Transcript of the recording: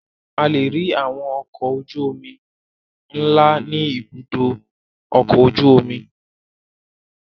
A lè rí àwọn ọkọ̀ ojú-omi ńlá ní Ibùdó-ọkọ̀ ojú-omi.